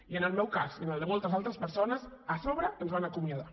i en el meu cas i en el de moltes altres persones a sobre ens van acomiadar